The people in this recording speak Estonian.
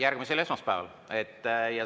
Järgmisel esmaspäeval.